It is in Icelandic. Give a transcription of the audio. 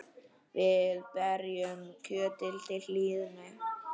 Við berjum kjötið til hlýðni.